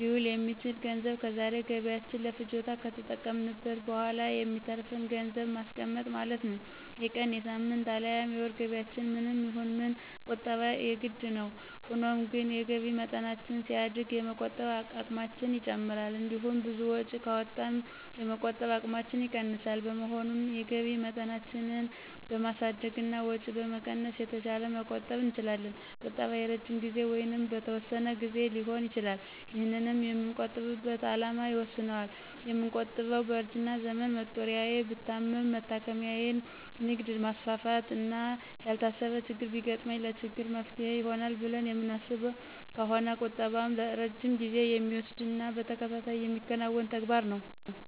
ሊውል የሚችል ገንዘብ ከዛሬ ገቢያችን ለፍጆታ ከተጠቀምንት በኋላ የሚተርፍን ገንዘብን ማስቀመጥ ማለት ነው። የቀን፣ የሳምንት፣ አልያም የወር ገቢያችን ምንም ይሁን ምን ቁጠባ የግድ ነው። ሆኖም ግን የገቢ መጠናችን ሲያድግ የመቆጠብ አቅማችን ይጨምራል። እንዲሁም ብዙ ወጪ ካወጣን የመቆጠብ አቅማችን ይቀንሳል። በመሆኑም የገቢ መጠናችንን በማሳደግና ወጪ በመቀነስ የተሻለ መቆጠብ እንችላለን። ቁጠባ የረጅም ጊዜ ወይንም በተወሰነ ግዜ ሊሆን ይችላል። ይህንንም የምንቆጥብበት አላማ ይወስነዋል። የምንቆጥበው በእርጅና ዘመን መጦሪያዬ፣ ብታመም መታከሚያየ፣ ንግድ ላማስፋፋት፣ እና ያልታሰበ ችግር ቢገጥመኝ ለችግሬ መፍትሔ ይሆናል ብለን የምናስብ ከሆነ ቁጠባም ረጅም ጊዜ የሚወስድና በተከታታይ የሚከናወን ተግባር ይሆናል።